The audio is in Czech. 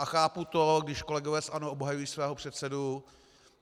A chápu to, když kolegové z ANO obhajují svého předsedu.